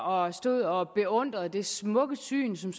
og stod og beundrede det smukke syn som